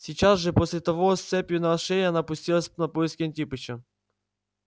сейчас же после того с цепью на шее она пустилась на поиски антипыча